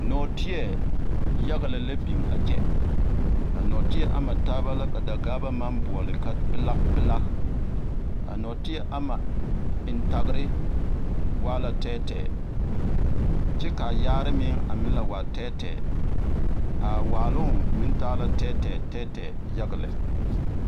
Nɔɔteɛ yaɡa lɛ la biŋ a kyɛ a nɔɔteɛ ama taaba la ka Daɡaaba maŋ boɔle ka pelaɡpelaɡ a nɔɔteɛ ama entaɡere waa la tɛɛtɛɛ kyɛ ka a yaare meŋ la waa tɛɛtɛɛ a waaloŋ meŋ taa la tɛɛtɛɛ yaɡa lɛ.